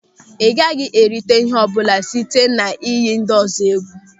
Ị gaghị erita ihe ọbụla site na-iyi ndịọzọ egwu.